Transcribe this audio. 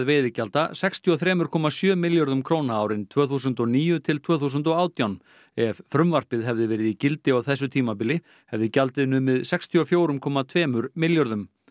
veiðigjalda sextíu og þrjú komma sjö milljörðum króna árin tvö þúsund og níu til tvö þúsund og átján ef frumvarpið hefði verið í gildi á þessu tímabili hefði gjaldið numið sextíu og fjögur komma tvö milljörðum